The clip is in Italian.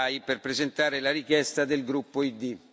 Bay per presentare la richiesta del gruppo ID.